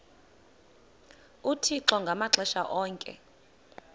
uthixo ngamaxesha onke